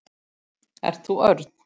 Ert þú Örn?